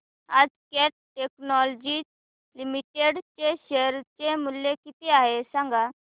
आज Cat Technologies Limited चे share चे मूल्य किती आहे सांगा